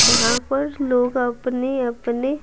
यहाँ पर लोग अपने-अपने --